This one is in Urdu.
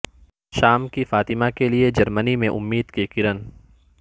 شام کی فاطمہ کے لیے جرمنی میں امید کی کرن